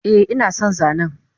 Eh inason zanen